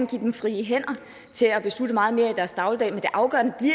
give dem frie hænder til at beslutte meget mere i deres dagligdag men det afgørende